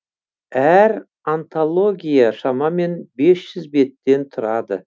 әр антология шамамен бес жүз беттен тұрады